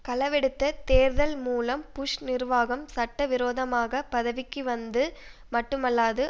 களவெடுத்த தேர்தல் மூலம் புஷ் நிர்வாகம் சட்ட விரோதமாக பதவிக்கு வந்தது மட்டுமல்லாது